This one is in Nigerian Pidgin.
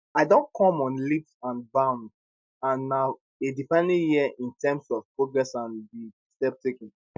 i don come on leaps and bounds and na a defining year in terms of progress and di steps taken